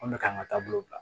Ko ne k'an ka taa bolo bila